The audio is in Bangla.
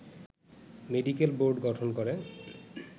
মেডিকেল বোর্ড গঠন করে